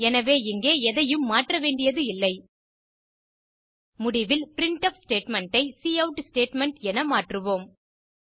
எனவே இங்கே எதையும் மாற்றவேண்டியது இல்லை முடிவில் பிரின்ட்ஃப் ஸ்டேட்மெண்ட் ஐ கவுட் ஸ்டேட்மெண்ட் என மாற்றுவோம்